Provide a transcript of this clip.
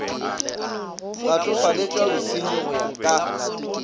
latofaletšwa bosernyi go ya ka